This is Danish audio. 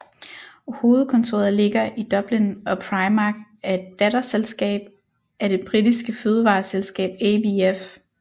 Hovedkontoret ligger i Dublin og Primark er et datterselskab af det britiske fødevareselskab ABF